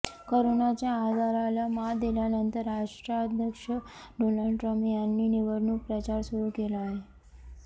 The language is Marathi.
करोनाच्या आजाराला मात दिल्यानंतर राष्ट्राध्यक्ष डोनाल्ड ट्रम्प यांनी निवडणूक प्रचार सुरू केला आहे